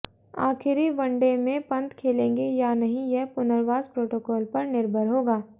आखिरी वनडे में पंत खेलेंगे या नहीं यह पुनर्वास प्रोटोकॉल पर निर्भर होगा